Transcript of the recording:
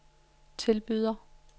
tilbyder